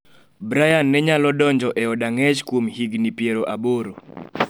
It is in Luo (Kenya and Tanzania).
Brian ne nyalo donjo e od ang'ech kuom higni piero aboro.